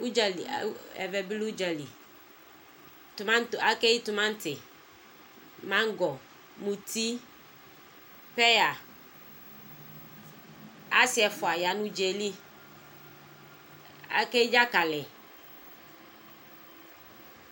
ʋdzali ɛvɛbi lɛ udzali tʋmati akeyi tʋmati mangɔ mʋti peya asiɛƒʋabi ya nʋ ʋdzaɛli akeyi dzakali